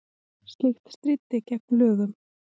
Slíkt stríddi gegn lögum